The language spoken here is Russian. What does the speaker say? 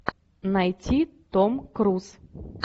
найти том круз